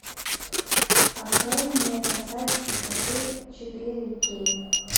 открой мне касаясь пустоты четыре кей